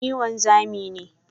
Ni wanzami ne.